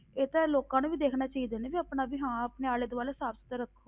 ਇਹ ਤੇ ਲੋਕਾਂ ਨੂੰ ਵੀ ਦੇਖਣਾ ਚਾਹੀਦਾ ਨਾ ਵੀ ਆਪਣਾ ਵੀ ਹਾਂ ਆਪਣੇ ਆਲੇ ਦੁਆਲੇ ਸਾਫ ਸੁਥਰੇ ਰੱਖੋ।